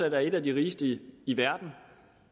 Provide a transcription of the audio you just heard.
at være et af de rigeste i verden